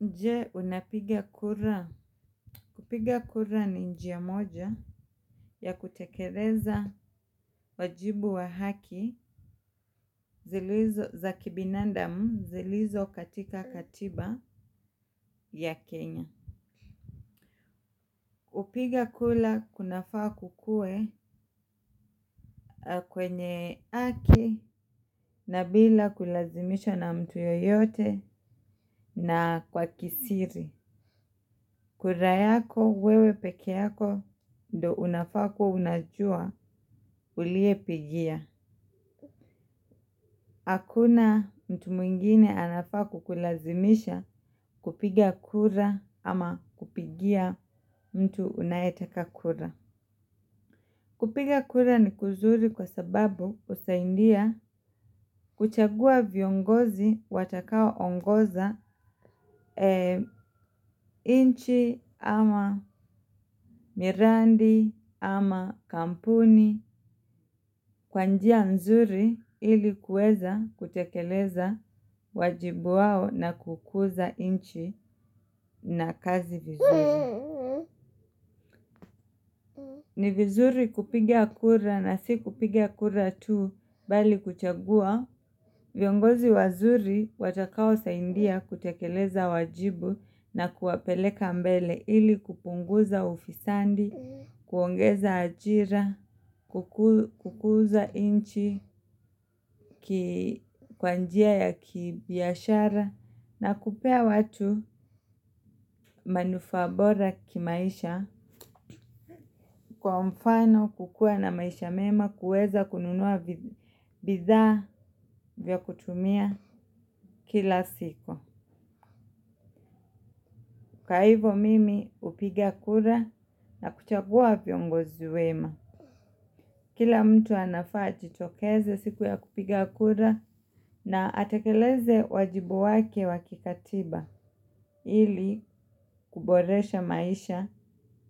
Je, unapiga kura? Kupiga kura ni njia moja ya kutekeleza wajibu wa haki zilizo za kibinandamu zilizo katika katiba ya Kenya kipiga kula kuna faa kukue kwenye haki na bila kulazimisha na mtu yoyote na kwa kisiri. Kura yako, wewe peke yako, ndo unafa kuwa unajua uliye pigia. Hakuna mtu mwingine anafaa kukulazimisha kupiga kura ama kupigia mtu unayetaka kura. Kupiga kura ni kuzuri kwa sababu husaindia kuchagua viongozi watakao ongoza nchi ama mirandi ama kampuni. Kwa njia nzuri ilikuweza kutekeleza wajibu wao na kukuza inchi na kazi vizuri. Ni vizuri kupigia kura na si kupigia kura tu bali kuchagua viongozi wazuri watakao saindia kutekeleza wajibu na kuwapeleka mbele ili kupunguza ufisandi. Kuongeza ajira, kukuza inchi, kwa njia ya kibiashara na kupea watu manufaa bora kimaisha kwa mfano kukue na maisha mema kuweza kununua bidhaa za kutumia kila siku. Kwa hivo mimi hupiga kura na kuchagua viongozi wema. Kila mtu anafaa ajitokeze siku ya kupiga kura na atakeleze wajibu wake wakikatiba ili kuboresha maisha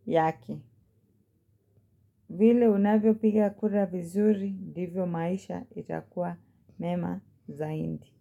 yake. Vile unavyo piga kura vizuri, ndivyo maisha itakuwa mema zaindi.